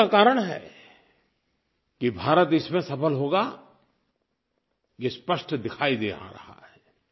और उसी का कारण है कि भारत इसमें सफल होगा ये स्पष्ट दिखाई दे रहा है